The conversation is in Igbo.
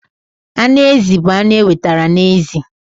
Anụ ezi bụ anụ enwetara na ezi.